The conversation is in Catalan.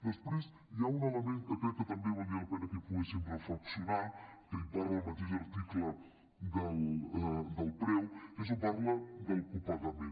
després hi ha un element que crec que també valdria la pena que hi poguéssim reflexionar que en parla al mateix article del preu que és on parla del copagament